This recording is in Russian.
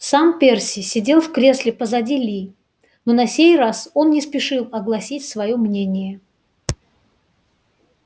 сам перси сидел в кресле позади ли но на сей раз он не спешил огласить своё мнение